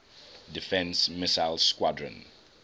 defense missile squadron